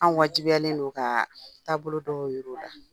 An wajibiyalen don ka taabolo dɔw jira u la.